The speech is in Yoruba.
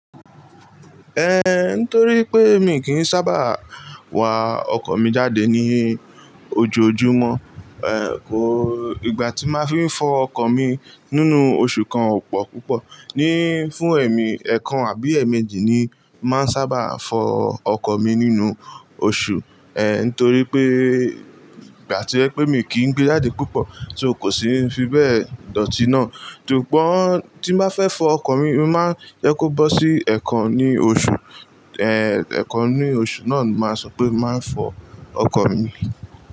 Eh, nítorí pé mi kì í sábà wa ọkọ̀ mi jáde ní ojoojúmọ́, eh, kò, ìgbà tí máa fi ń fọ ọkọ̀ mi nínú oṣù kan ò pọ̀ púpọ̀, ní fún ẹ̀mí, ẹ̀kan àbí ẹ̀ẹ̀méjì ni máa ń sábà fọ ọkọ̀ mi nínú oṣù, eh, nítorí pé ìgbà tí ẹ pé mi kì í gbé jáde púpọ̀, so kò sì ń fi bẹ́ẹ̀ dọ̀tí náà. Sugbon tí máa fẹ́ fọ ọkọ̀ mi, màá jẹ́ kó bọ́ sí ẹ̀kan ní oṣù, eh, ẹ̀kan ní oṣù náà la máa sọ pé máa ń fọ ọkọ̀ mi.